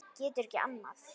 Getur ekki annað.